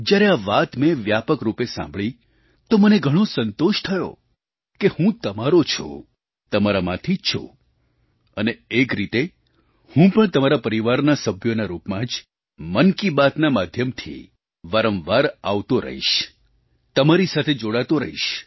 જ્યારે આ વાત મેં વ્યાપક રૂપે સાંભળી તો મને ઘણો સંતોષ થયો કે હું તમારો છું તમારામાંથી જ છું અને એક રીતે હું પણ તમારા પરિવારના સભ્યોના રૂપમાં જ મન કી બાતના માધ્યમથી વારંવાર આવતો રહીશ તમારી સાથે જોડાતો રહીશ